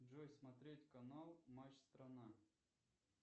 джой смотреть канал матч страна